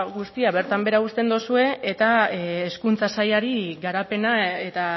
guztia bertan behera uzten duzue eta hezkuntza sailari garapena eta